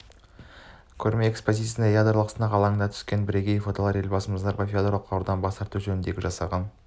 көрме экспозициясына ядролық сынақ алаңынан түскен бірегей фотолар елбасымыз назарбаевтың ядролық қарудан бас тарту жөніндегі жасаған